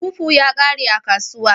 Fufu ya kare a kasuwa.